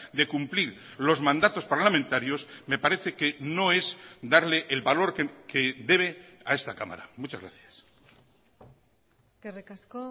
de cumplir los mandatos parlamentarios me parece que no es darle el valor que debe a esta cámara muchas gracias eskerrik asko